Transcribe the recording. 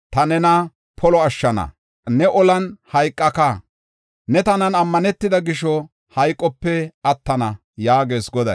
Ta nena polo ashshana; ne olan hayqaka; ne tanan ammanetida gisho, hayqope attana’ ” yaagees Goday.